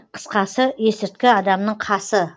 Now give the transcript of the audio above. қысқасы есірткі адамның қасы